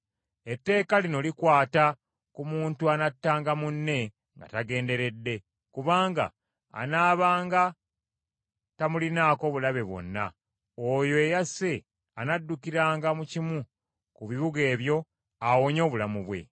Etteeka lino likwata ku muntu anattanga munne nga tagenderedde kubanga anaabanga tamulinaako kiruyi kyonna, oyo eyasse anaddukiranga mu kimu ku bibuga ebyo awonye obulamu bwe.